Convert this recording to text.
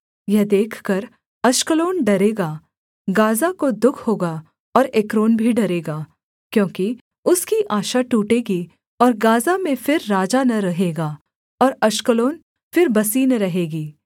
यह देखकर अश्कलोन डरेगा गाज़ा को दुःख होगा और एक्रोन भी डरेगा क्योंकि उसकी आशा टूटेगी और गाज़ा में फिर राजा न रहेगा और अश्कलोन फिर बसी न रहेगी